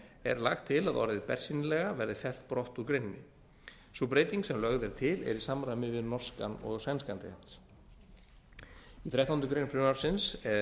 er lagt til að orðið bersýnilega verði fellt brott úr greininni sú breyting sem lögð er til er í samræmi við norskan og sænskan rétt í þrettándu greinar frumvarpsins